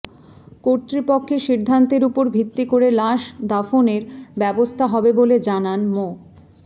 কর্তৃপক্ষের সিদ্ধান্তের উপর ভিত্তি করে লাশ দাফনের ব্যবস্থা হবে বলে জানান মো